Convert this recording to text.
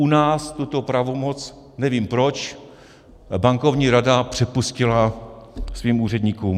U nás tuto pravomoc, nevím proč, Bankovní rada přepustila svým úředníkům.